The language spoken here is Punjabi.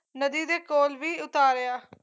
ਨਦੀ ਦੇ ਕੋਲ ਵੀ ਉਤਾਰਿਆ